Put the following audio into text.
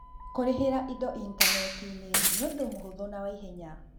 Kũrĩhĩra indo initaneti-inĩ nĩ ũndũ wa mũhũthũ na wa ihenya.